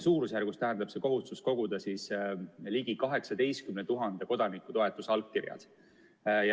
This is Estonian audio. Suurusjärgus tähendab see kohustus koguda ligi 18 000 kodaniku toetusallkirjad.